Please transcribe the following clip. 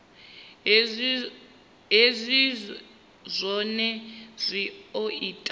hezwi zwohe zwi o ita